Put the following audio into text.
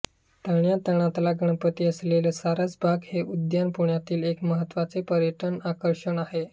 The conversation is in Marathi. तळ्यातला गणपती असलेले सारसबाग हे उद्यान पुण्यातील एक महत्त्वाचे पर्यटन आकर्षण आहे